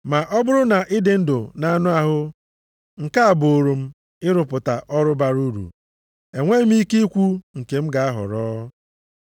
Ma ọ bụrụ na ịdị ndụ nʼanụ ahụ, nke a buuru m ịrụpụta ọrụ bara uru, enweghị m ike ikwu nke m ga-ahọrọ.